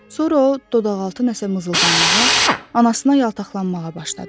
Sonra o dodaqaltı nəsə mızıldanmağa, anasına yaltaqlanmağa başladı.